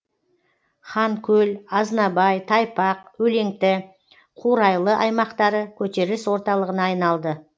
ханкөл азнабай тайпақ өлеңті қурайлы аймақтары көтеріліс орталығына айналды